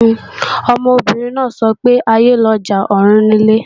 Ọmọbìnrin náà ń sọ pé "aiyé lọjà, ọ̀run nilé"